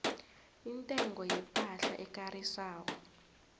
intengo yepahla ekarisako